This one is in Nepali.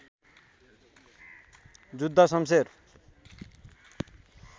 जुद्ध शम्शेर